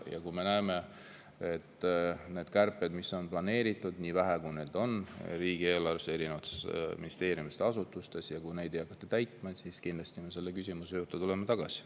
Kui me näeme, et neid kärpeid, mis on planeeritud – nii vähe, kui neid ka ei ole riigieelarves, erinevates ministeeriumides ja asutustes –, ei hakata, siis me tuleme kindlasti selle küsimuse juurde tagasi.